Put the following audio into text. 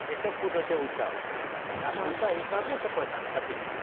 କେତେ ଫୁଟ ର ସେ ଉଚା ଉଚା ହିସାବରେ ସେ ପଇସା ନବା ହର ଟିକେଟ ର